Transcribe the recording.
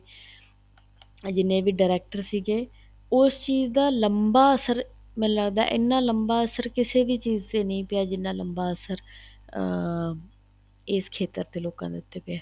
ਆ ਜਿਹਨੇ ਵੀ director ਸੀਗੇ ਉਸ ਚੀਜ਼ ਦਾ ਲੰਬਾ ਅਸਰ ਮੈਨੂੰ ਲੱਗਦਾ ਏ ਇਹਨਾ ਲੰਬਾ ਅਸਰ ਕਿਸੇ ਵੀ ਚੀਜ਼ ਤੇ ਨਹੀਂ ਪਇਆ ਜਿਹਨਾ ਲੰਬਾ ਅਸਰ ਅਹ ਇਸ ਖ਼ੇਤਰ ਦੇ ਲੋਕਾਂ ਦੇ ਉੱਤੇ ਪਇਆ